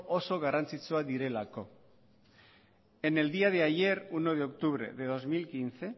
oso garrantzitsuak direlako en el día de ayer uno de octubre de dos mil quince